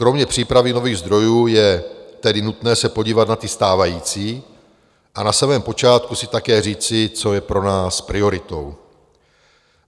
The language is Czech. Kromě přípravy nových zdrojů je tedy nutné se podívat na ty stávající a na samém počátku si také říci, co je pro nás prioritou.